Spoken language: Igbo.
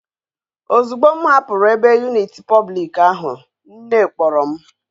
Ozugbo m hapuru ebe unit public ahu nne kporo m